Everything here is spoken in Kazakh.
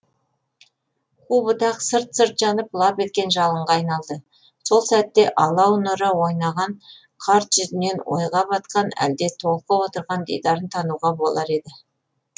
қу бұтақ сытыр сытыр жанып лап еткен жалынға айналды сол сәтте алау нұры ойнаған қарт жүзінен ойға батқан әлде толқып отырған дидарын тануға болар еді